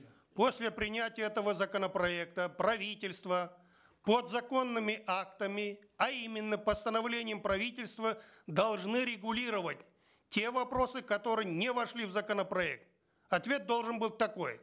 после принятия этого законопроекта правительство подзаконными актами а именно постановлением правительства должны регулировать те вопросы которые не вошли в законопроект ответ должен быть такой